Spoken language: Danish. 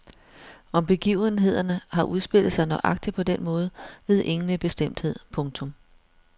Om begivenhederne har udspillet sig nøjagtigt på den måde ved ingen med bestemthed. punktum